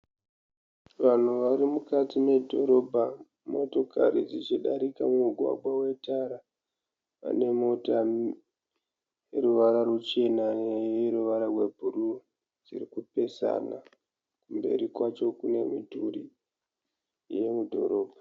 Vanhu varimukati medhorobha, motokari dzichidarika mumugwagwa wetara. Pane mota ine ruvara ruchena neruvara rebhuruu dzirikupesana mberi kwacho kune midhuri yemu dhorobha